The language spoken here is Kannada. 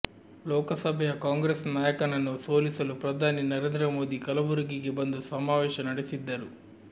ಲೋಕಸಭೆಯ ಕಾಂಗ್ರೆಸ್ ನಾಯಕನನ್ನು ಸೋಲಿಸಲು ಪ್ರಧಾನಿ ನರೇಂದ್ರ ಮೋದಿ ಕಲಬುರಗಿಗೆ ಬಂದು ಸಮಾವೇಶ ನಡೆಸಿದ್ದರು